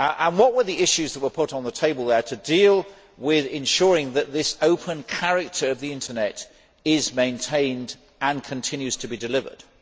What were the issues that were put on the table to deal with ensuring that this open character of the internet is maintained and continues to be delivered?